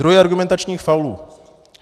Druhy argumentačních faulů.